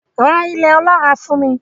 Ra ilẹ̀ ọlọ́ràá fún mi.